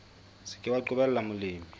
se ke wa qobella molemi